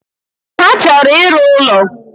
Ha chọrọ ịrụ ụlo